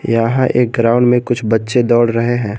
यहां एक ग्राउंड में कुछ बच्चे दौड़ रहे हैं।